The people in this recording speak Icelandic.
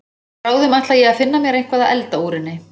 Bráðum ætla ég að finna mér eitthvað að elda úr henni.